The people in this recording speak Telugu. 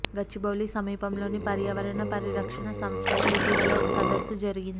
గచ్చిబౌలి సమీపంలోని పర్యావరణ పరిరక్షణ సంస్థలో ఇటీవల ఒక సదస్సు జరిగింది